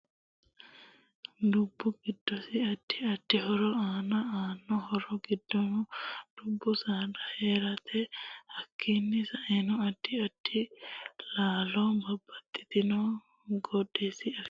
Dubbu giddosi addi addi horo aano. aano horo giddonno dubbu saada heerate hakiini seano addi addi laalo babbxitinotino giddosi afantanno